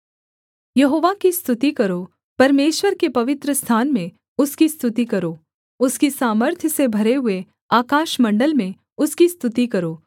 यहोवा की स्तुति करो परमेश्वर के पवित्रस्थान में उसकी स्तुति करो उसकी सामर्थ्य से भरे हुए आकाशमण्डल में उसकी स्तुति करो